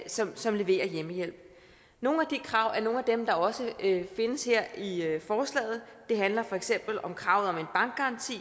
som som leverer hjemmehjælp nogle af de krav er nogle af dem der også findes her i forslaget det handler for eksempel om kravet om en bankgaranti